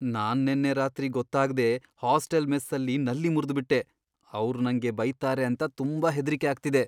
ನಾನ್ ನೆನ್ನೆ ರಾತ್ರಿ ಗೊತ್ತಾಗ್ದೇ ಹಾಸ್ಟೆಲ್ ಮೆಸ್ಸಲ್ಲಿ ನಲ್ಲಿ ಮುರ್ದ್ಬಿಟ್ಟೆ, ಅವ್ರ್ ನಂಗೆ ಬೈತಾರೆ ಅಂತ ತುಂಬಾ ಹೆದ್ರಿಕೆ ಆಗ್ತಿದೆ.